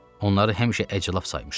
Onları həmişə əclaf saymışam.